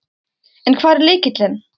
En hver er lykillinn?